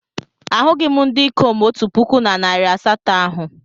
Ahụghị m ndị ikom otu puku na narị asatọ ahụ.